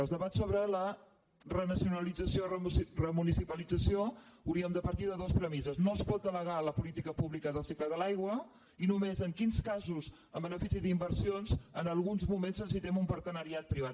en els debats sobre la renacionalització o remunicipalització hauríem de partir de dues premisses no es pot delegar la política pública del cicle de l’aigua i només en quins casos en benefici d’inversions en alguns moments necessitem un partenariat privat